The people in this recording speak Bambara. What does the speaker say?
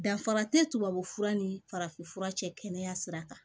Danfara tɛ tubabu fura ni farafinfura cɛ kɛnɛya sira kan